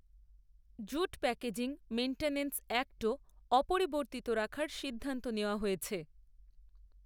jute packaging maintenance, অ্যাক্টও, অপরিবর্তিত রাখার সিদ্ধান্ত নেওয়া হয়েছে